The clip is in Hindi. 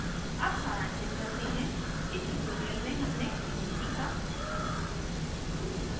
अब सारांशित करते हैं इस tutorial में हमने निम्न सीखा: